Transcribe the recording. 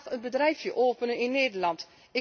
Hij gaat vandaag een bedrijfje openen in Nederland.